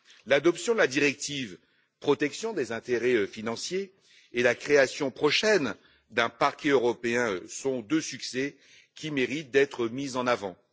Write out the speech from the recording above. L'adoption de la directive sur la protection des intérêts financiers et la création prochaine d'un parquet européen sont deux succès qui méritent d'être mis en avant.